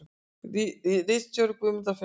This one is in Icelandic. Ritstjóri Guðmundur Finnbogason.